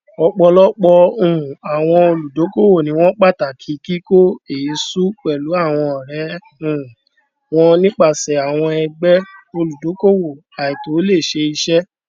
ọpọlọpọ um àwọn olùdókòwò ni wọn pàtàkì kíkó èésú pẹlú àwọn ọrẹ um wọn nípasẹ àwọn ẹgbẹ olùdókòwò àìtòlẹsẹẹsẹ